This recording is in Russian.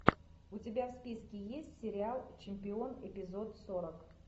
у тебя в списке есть сериал чемпион эпизод сорок